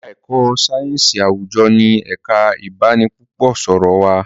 èka èko sáyẹnsì àwùjọ ní ẹka ibanipúpò sọrọ wá